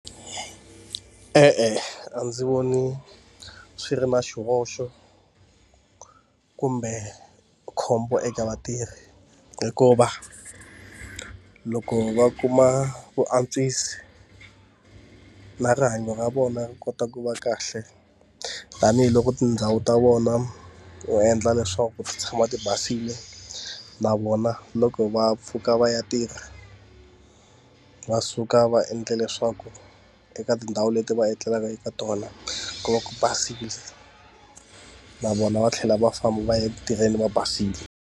E-e, a ndzi voni swi ri na xihoxo kumbe khombo eka vatirhi hikuva, loko va kuma vuantswisi na rihanyo ra vona ri kota ku va kahle, tanihiloko tindhawu ta vona va endla leswaku ti tshama ti basile. Na vona loko va pfuka va ya tirha, va suka va endle leswaku eka tindhawu leti va etlelaka eka tona ku va ku basile na vona va tlhela va famba va ya eku tirheni va basile.